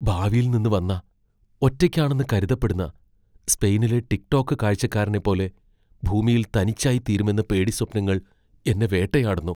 ഭാവിയിൽ നിന്ന് വന്ന, ഒറ്റയ്ക്കാണെന്ന് കരുതപ്പെടുന്ന, സ്പെയിനിലെ ടിക് ടോക്ക് കാഴ്ചക്കാരനെപ്പോലെ ഭൂമിയിൽ തനിച്ചായിത്തീരുമെന്ന പേടിസ്വപ്നങ്ങൾ എന്നേ വേട്ടയാടുന്നു.